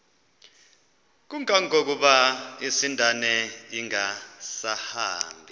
kangangokuba isindane ingasahambi